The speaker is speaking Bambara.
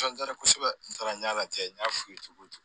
kosɛbɛ n taara n y'a lajɛ n y'a f'i ye cogo cogo